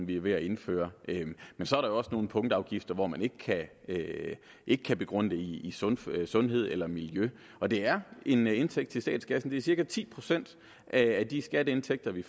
vi er ved at indføre men så er der også nogle punktafgifter hvor man ikke kan ikke kan begrunde dem i sundhed sundhed eller miljø og det er en indtægt til statskassen det er cirka ti procent af de skatteindtægter vi